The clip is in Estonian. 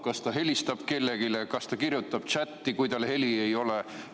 Kas ta helistab kellelegi, kas ta kirjutab tšätti, kui tal heli ei ole?